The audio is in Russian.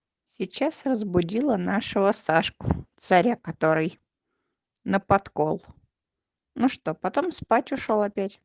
сейчас разбудила нашего сашку царя который на подкол ну что потом спать ушёл опять